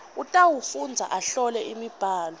utawufundza ahlole imibhalo